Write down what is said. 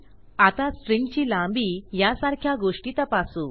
आता स्ट्रिंगची लांबी यासारख्या गोष्टी तपासू